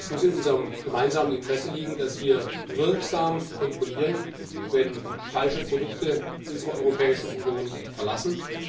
Es muss in unserem gemeinsamen Interesse liegen, dass wir wirksam kontrollieren, ob falsche Produkte unsere Europäische Union verlassen.